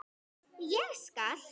Ég skal.